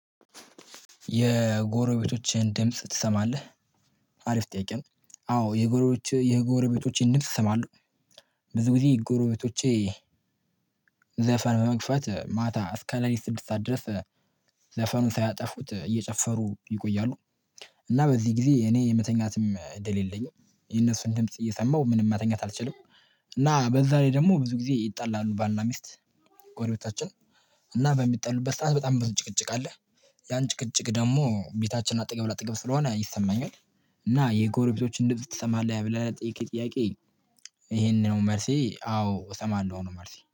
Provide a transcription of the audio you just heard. የጎረቤቶችህን ድምጽ ትሰማለህ? አሪፍ ጥያቄ ነው። አዎ የጎረቤቼ የጎረቤቶቼን ድምጽ እሰማለሁ። ብዙ ጊዜ ጎረቤቶቼ ዘፈን በመክፋት ማታ እስከ ሌሊት ስድስት ሰዓት ድረስ ኧ ዘፈኑን ሳያጠፉት እየጨፈሩ ይቆያሉ። እና በዚህ ጊዜ የእኔ የመተኛትም እንድል የለኝም። የእነሱን ድምጽ እየሰማሁ ምንም መተኛት አልችልም። እና በዛ ላይ ደግሞ ብዙ ጊዜ ይጣላሉ ባልና ሚስት ጎሪቤታችን እና በሚጣሉበት ሰዓት በጣም ብዙ ጭቅጭቅ አለ። ያን ጭቅጭቅ ደሞ ቤታችን አጠገብ ላጥገብ ስለሆነ ይሰማኛል። እና የጎረቤቶችን ድምጽ ትሰማለህ ብለህ ለጠየከኝ ጥያቄ? ይሄነ ነው መልሴ አዎ እሰማለሁ ነው መልሴ